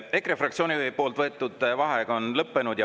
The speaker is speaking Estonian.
EKRE fraktsiooni võetud vaheaeg on lõppenud.